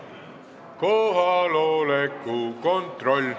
Kohaloleku kontroll.